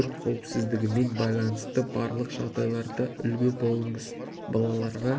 өрт қауіпсіздігімен байланысты барлық жағдайларда үлгі болыңыз балаларға